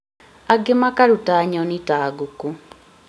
angĩ makaruta nyoni ta ngũkũ